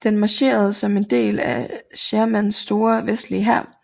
Den marcherede som en del af Shermans store Vestlige Hær